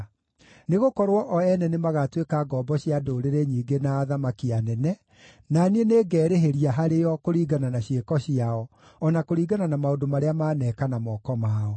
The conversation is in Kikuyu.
Nĩgũkorwo o ene nĩmagatuĩka ngombo cia ndũrĩrĩ nyingĩ na athamaki anene; na niĩ nĩngerĩhĩria harĩo kũringana na ciĩko ciao, o na kũringana na maũndũ marĩa maneeka na moko mao.”